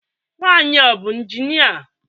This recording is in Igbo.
Nwanyị a ọ bụ injinia?